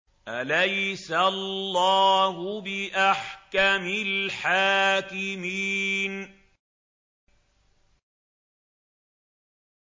أَلَيْسَ اللَّهُ بِأَحْكَمِ الْحَاكِمِينَ